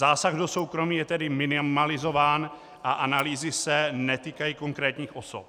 Zásah do soukromí je tedy minimalizován a analýzy se netýkají konkrétních osob.